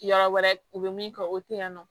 Yɔrɔ wɛrɛ u bɛ min kɛ o tɛ yen nɔ